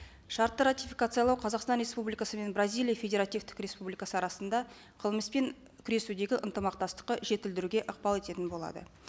шартты ратификациялау қазақстан республикасы мен бразилия федеративтік республикасы арасында қылмыспен күресудегі ынтымақтастықты жетілдіруге ықпал етеді